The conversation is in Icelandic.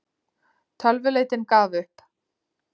Tölvuleitin gaf upp